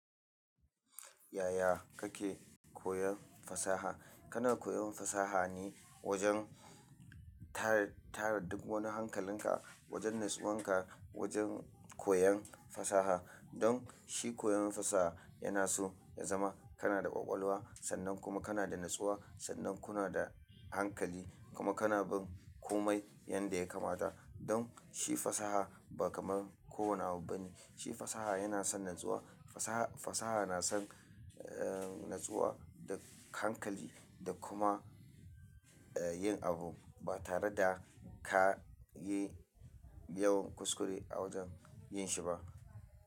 Yaya kake koyan fasaha? Kana koyon fasaha ne wajen tara, tara duk wani hankalinka, wajen natsuwan ka, wajen koyan fasaha. Don shi koyon fasaha yana so ya zama kana da ƙwaƙwalwa sannan kuma kana da natsuwa sannan kuna da hankali kuma kana bin komai yanda ya kamata. Don shi fasaha ba kamar kowane abu bane. Shi fasaha yana son natsuwa, fasaha, fasaha na son, eh, natsuwa da hankali da kuma, eh, yin abu ba tare da ka yi yawan kuskure a wajen yin shi ba.